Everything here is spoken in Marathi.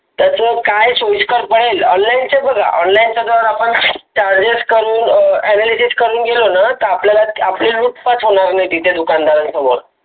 त्याचं काय सोईस्कर जाईल. online बघा online जर आपण Charges कम Available करून गेलो ना तर आपली उत्पात होणार नाही. तिथे दुकानदारा सामोर